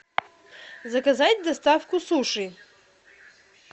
заказать доставку суши